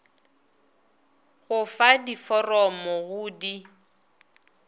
go fa diforomo go di